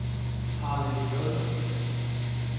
Harlev J